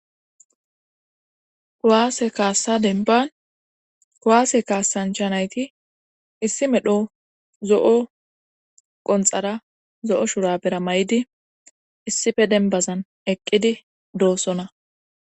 Kiwaase kaassa denban kuwaase kaassancha nayti issi medho zo7o qonxara zo7o shura bera may7idi issife denbazan eqqidi doossona.